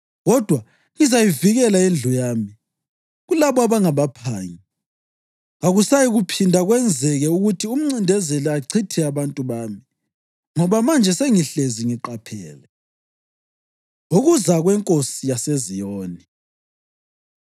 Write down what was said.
Kodwa ngizayivikela indlu yami kulabo abangabaphangi. Kakusayikuphinda kwenzeke ukuthi umncindezeli achithe abantu bami, ngoba manje sengihlezi ngiqaphele. Ukuza KweNkosi YaseZiyoni